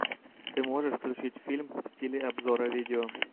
ты можешь включить фильм в стиле обзора видео